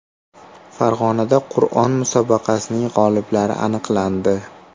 Farg‘onada Qur’on musobaqasining g‘oliblari aniqlandi.